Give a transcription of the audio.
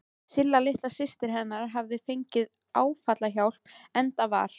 Silla litla systir hennar hafði fengið áfallahjálp, enda var